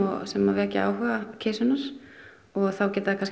sem vekja áhuga kisunnar og þá gætu þær